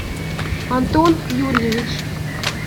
антон юрьевич